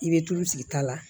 I bɛ tulu sigi ta la